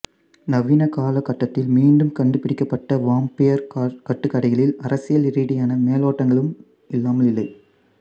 நவீன கால கட்டத்தில் மீண்டும் கண்டுபிடிக்கப்பட்ட வாம்பயர் கட்டுக்கதைகளில் அரசியல் ரீதியான மேலோட்டங்களும் இல்லாமல் இல்லை